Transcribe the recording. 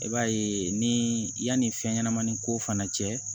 I b'a ye ni yanni fɛn ɲɛnamanin ko fana cɛ